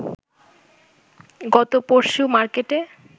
গত পরশু মার্কেটে